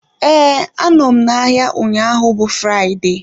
Ee, anọ m n'ahịa ụnyaahụ bụ Fraịde